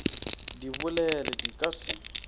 di bolele di ka se